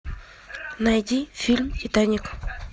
найди фильм титаник